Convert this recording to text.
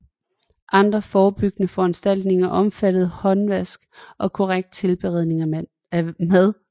Andre forebyggende foranstaltninger omfatter håndvask og korrekt tilberedning af mad